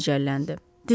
birdən başı gicəlləndi.